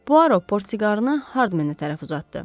Puaro portsiqarını Hardmenə tərəf uzatdı.